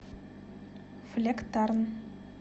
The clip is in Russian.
флектарн